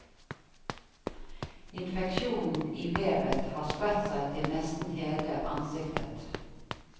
Infeksjonen i vevet har spredt seg til nesten hele ansiktet.